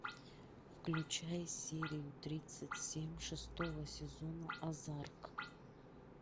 включай серию тридцать семь шестого сезона озарк